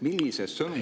Millise sõnumiga …